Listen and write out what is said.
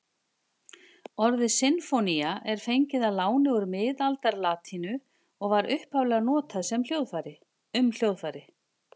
Orðið sinfónía er fengið að láni úr miðaldalatínu og var upphaflega notað um hljóðfæri.